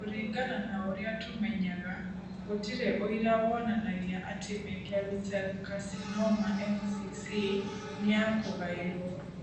Kũringana na ũrĩa tũmenyaga, gũtirĩ ũira wonanagia atĩ Merkel cell carcinoma (MCC) nĩ ya kũgaĩrũo.